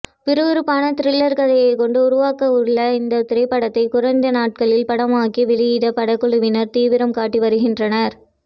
விறுவிறுப்பான திரில்லர் கதையைக் கொண்டு உருவாகவுள்ள இந்த திரைப்படத்தை குறைந்த நாட்களில் படமாக்கி வெளியிட படக்குழுவினர் தீவிரம் காட்டி வருகின்றனர்